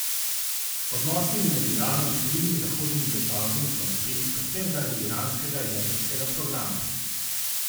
Odnosi med Iranom in številnimi zahodnimi državami so napeti predvsem zaradi iranskega jedrskega programa.